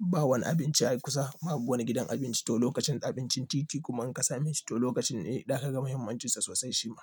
ba wani abinci a kusa babu wani gidan abinci to lokacin abincin titi kuma in ka samu shi to lokacin ne za aka ga muhimmancinsa sosai shi ma.